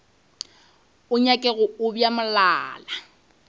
a nyake go obja molala